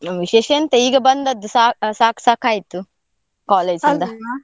ನಮ್ ವಿಶೇಷ ಎಂತ, ಈಗ ಬಂದದ್ದು ಸಾ~ ಸಾಕ್ ಸಾಕ್ ಆಯ್ತು .